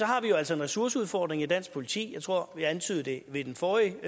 har vi jo altså en ressourceudfordring i dansk politi jeg tror vi antydede det i den forrige